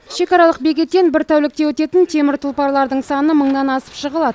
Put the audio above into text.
шекаралық бекеттен бір тәулікте өтетін темір тұлпарлардың саны мыңнан асып жығылады